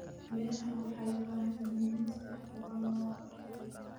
Beeraha waxay u baahan yihiin in si habboon loo qorsheeyo.